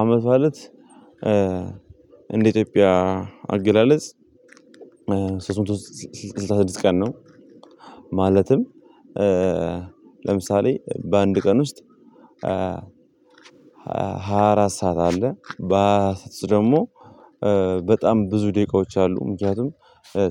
አመት አለት እንደ ኢትዮጵያ አገላለጽ ሶስት ስልሳ ስድስት ቀን ነው። ማለትም ለምሳሌ በአንድ ቀን ውስጥ ሃያ አራት ሰዓት አለ። በስደት ደግሞ በጣም ብዙ ደቂቃዎች አሉ። ምክንያቱም